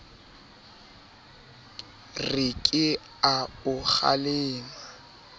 re ke a o kgalema